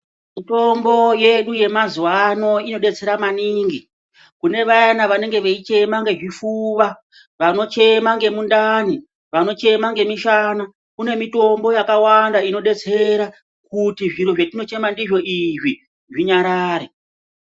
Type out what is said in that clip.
Mitombo yedu yemazuwa ano inodetsera maningi kune vayana vanenge veichema ngezvifuva. Vanochema ngemundani. Vaya vanochema ngemishana. Kune mitombo yakawanda inodetsera kuti zviro zvatinochema ndizvo izvi zvinyarare